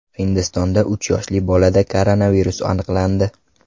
Hindistonda uch yoshli bolada koronavirus aniqlandi .